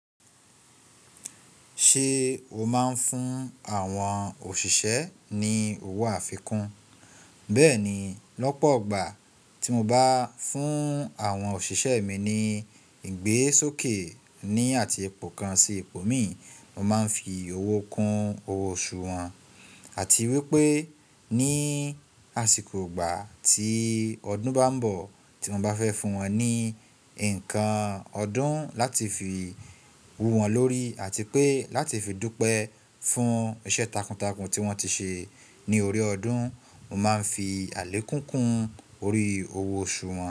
Ṣe o máa ń fún àwọn òṣìṣẹ́ ní owó àfikún? Bẹ́ẹ̀ni, lọ́pọ̀ ọgbà tí mo bá fún àwọn òṣìṣẹ́ mi ní ìgbésókè ní àti ẹpo kan sì epo mìí, mo máa ń fi owó kun owó oṣù wọn àti wípé ní àsìkò ọgbà tí ọdún bá ń bọ̀ tí mo bá fẹ́ fún wọn ní nǹkan ọdún láti fi wú wọn lórí àti pé láti fi dúpẹ́ fún iṣẹ́ takuntakun tí wọ́n ti ṣe ní orí ọdún, mo máa ń fi àlékún kun orí owó oṣù wọn.